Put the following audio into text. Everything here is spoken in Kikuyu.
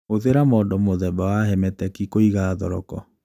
Hũthĩra mondo mũthemba wa hermetic kũiga thoroko